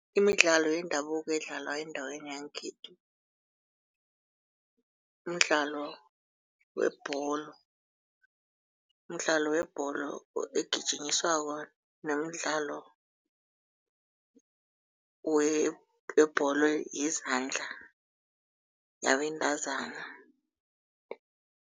Imidlalo yendabuko edlalwa endaweni yangekhethu, mdlalo webholo, mdlalo webholo egijinyiswako nomdlalo webholo yezandla yabentazana.